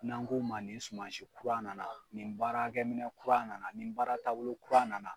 N'an ko ma nin sumansi kura nana ni baarakɛminɛn kura nana ni baara taabolo kuran nana